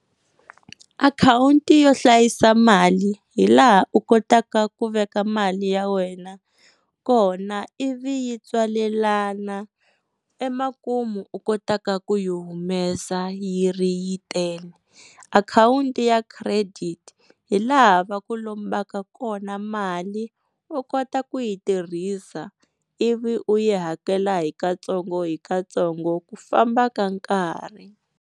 Akhawunti yo hlayisa mali hi laha u kotaka ku veka mali ya wena kona ivi yi tswalelana emakumu u kotaka ku yi humesa yi ri yi tele akhawunti ya credit hi laha va ku lombaka kona mali u kota ku yi tirhisa ivi u yi hakela hi katsongo hi katsongo ku famba ka nkarhi.